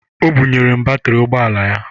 O bunyere m batịrị ụgbọala ya